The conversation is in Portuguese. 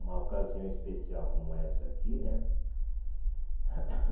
Uma ocasião especial como essa aqui, né?